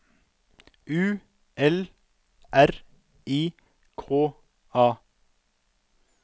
U L R I K A